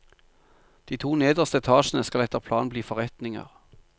De to nederste etasjene skal etter planen bli forretninger.